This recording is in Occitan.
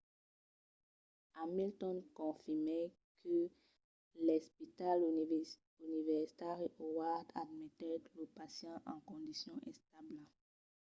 hamilton confirmèt que l'espital universitari howard admetèt lo pacient en condicion establa